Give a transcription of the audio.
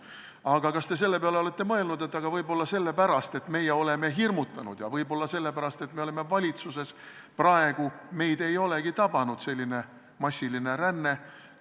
Aga kas te selle peale olete mõelnud, et võib-olla sellepärast, et me oleme hirmutanud, ja võib-olla sellepärast, et me oleme praegu valitsuses, meid ei olegi tabanud selline massiline ränne?